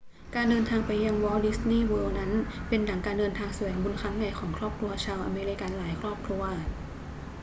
การเดินทางไปยังวอลต์ดิสนีย์เวิลด์นั้นเป็นดั่งการเดินทางแสวงบุญครั้งใหญ่ของครอบครัวชาวอเมริกันหลายครอบครัว